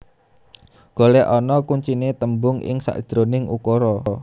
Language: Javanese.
Golekana kuncine tembung ing sakjeroning ukara